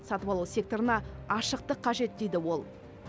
сатып алу секторына ашықтық қажет дейді ол